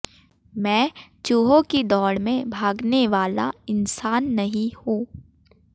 मैं चूहों की दौड़ में भागने वाला इंसान नहीं हूं